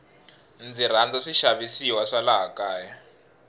ndzi rhandza swi xavisiwa swa laha kaya